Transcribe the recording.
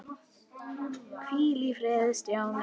Hvíl í friði, Stjáni.